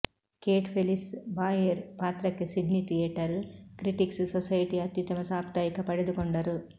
Kate Felice Bayer ಪಾತ್ರಕ್ಕೆ Sydney theatre critics ಸೊಸೈಟಿಯ ಅತ್ಯುತ್ತಮ ಸಾಪ್ತಾಹಿಕ ಪಡೆದುಕೊಂಡರು